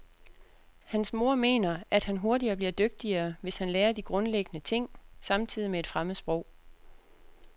Hans mor mener, at han hurtigere bliver dygtigere, hvis han lærer de grundlæggende ting samtidig med et fremmed sprog.